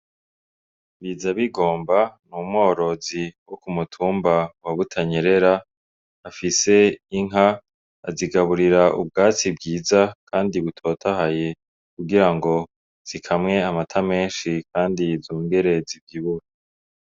Bizabigomba ni umworozi wo ku mutumba wa butanyerera afise inka azigaburira ubwatsi bwiza, kandi butotahaye kugira ngo zikamwe amata menshi, kandi zongere zivyibuhe.